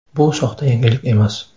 Bu soxta yangilik emas.